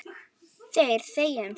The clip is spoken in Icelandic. Þeir þegja um stund.